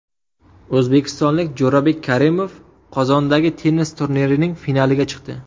O‘zbekistonlik Jo‘rabek Karimov Qozondagi tennis turnirining finaliga chiqdi.